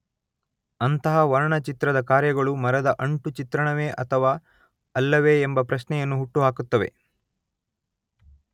ಅಂತಹ ವರ್ಣಚಿತ್ರದ ಕಾರ್ಯಗಳು ಮರದ ಅಂಟು ಚಿತ್ರಣವೇ ಅಥವಾ ಅಲ್ಲವೇ ಎಂಬ ಪ್ರಶ್ನೆಯನ್ನು ಹುಟ್ಟು ಹಾಕುತ್ತವೆ.